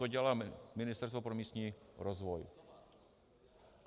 To dělá Ministerstvo pro místní rozvoj.